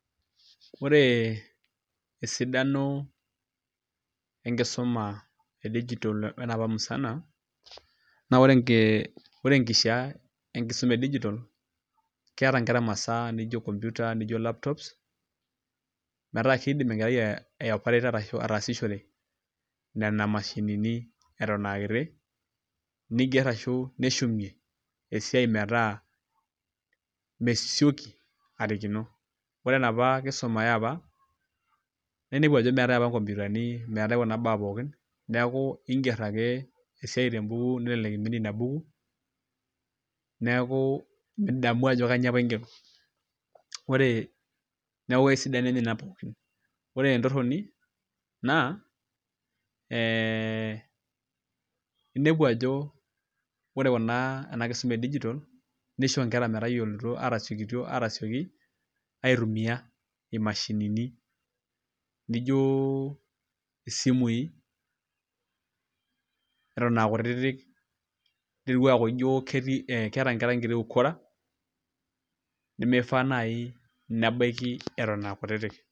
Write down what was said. Ore esidano enkisuma e digital onepa musana naa ore enkishaa enkisuma e digital keeta inkera imasaa nijo computer niko laptops metaa kiidim enkerai aopareta ashu atasishore nena mashinini Eton aakiti niger arashu neshumie esiai metaa mesioki arikino. Ore enapa kisuma eapa naa inepu ajo metai apa inkompitani, meetai kuna baa pookin neeku iiger ake esiai tembuku nelelek iminie inabuku neeku midamu ajo kanyio apa igero. Ore sidano enye naa nena pookin, ore entoroni enye naa ee inepu ajo ore ena kisuma e digital nisho inkera metayioloito atasioki aitumiya imashinini, nijo isimui eton aakutiti ninepu ajo keeta inkera enkiti ukora nimifaa naayi nebaiki eton aa kutiti.